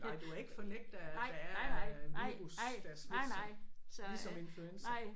Nej du var ikke fornægter af at der er en virus der er smitsom ligesom influenza